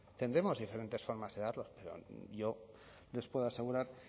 tendremos diferentes formas de darlos pero yo les puedo asegurar